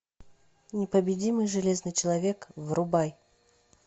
непобедимый железный человек врубай